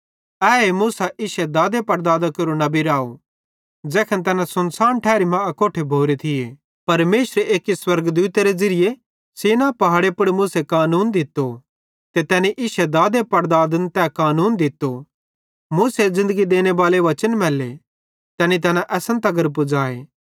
एहे मूसा इश्शे दादा पड़दादां केरो नबी राव ज़ैखन तैन सुनसान ठारी मां अकोट्ठे भोरोए परमेशरे एक्की स्वर्गदूत सीनै पहाड़े पुड़ मूसे कानून दित्तो ते तैनी इश्शे दादे पड़दादन तैन कानून दित्तो मूसे ज़िन्दगी देनेबाले वचन मैल्ले तैनी तैना असन तगर पुज़ाए